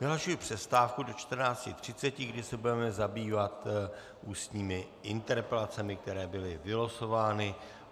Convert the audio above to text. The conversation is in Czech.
Vyhlašuji přestávku do 14.30, kdy se budeme zabývat ústními interpelacemi, které byly vylosovány.